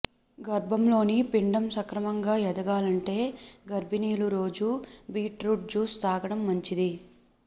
గర్భంలోని పిండం సక్రమంగా ఎదగాలంటే గర్భిణీలు రోజూ బీట్ రూట్ జ్యూస్ తాగడం మంచిది